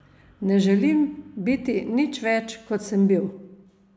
Ne želim biti nič več, kot sem bil.